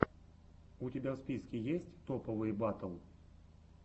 у тебя в списке есть топовые батл